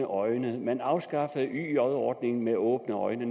øjne man afskaffede yj ordningen med åbne øjne